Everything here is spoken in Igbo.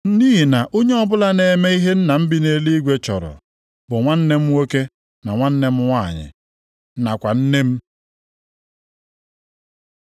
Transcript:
Nʼihi na onye ọbụla na-eme ihe Nna m bi nʼeluigwe chọrọ, bụ nwanne m nwoke, na nwanne m nwanyị, nakwa nne m.”